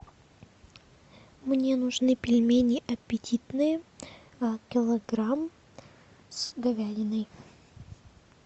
мне нужны пельмени аппетитные килограмм с говядиной